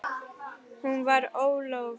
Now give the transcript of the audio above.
Hún var ólofuð.